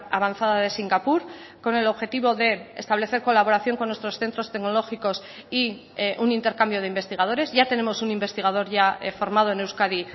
avanzada de singapur con el objetivo de establecer colaboración con nuestros centros tecnológicos y un intercambio de investigadores ya tenemos un investigador ya formado en euskadi